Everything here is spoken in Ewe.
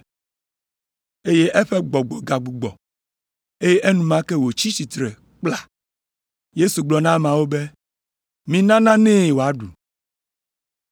Eye eƒe gbɔgbɔ gagbugbɔ, eye enumake wòtsi tsitre kpla. Yesu gblɔ na ameawo be, “Mina nanee wòaɖu!”